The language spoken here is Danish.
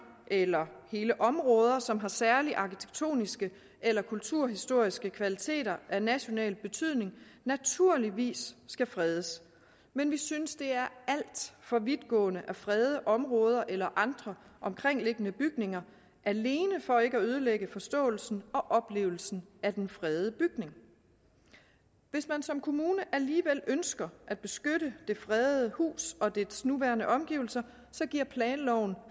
eller hele områder som har særlige arkitektoniske eller kulturhistoriske kvaliteter af national betydning naturligvis skal fredes men vi synes det er alt for vidtgående at frede områder eller andre omkringliggende bygninger alene for ikke at ødelægge forståelsen og oplevelsen af den fredede bygning hvis man som kommune alligevel ønsker at beskytte det fredede hus og dets nuværende omgivelser giver planloven